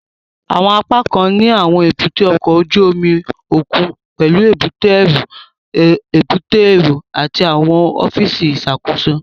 Àwọn apákan ní àwọn èbúté ọkọ̀ ojú omi òkun pẹlú èbúté ẹrú, èbúté èrò àti àwọn ọfíìsì ìṣàkóso